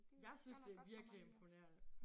Jeg synes det virkelig imponerende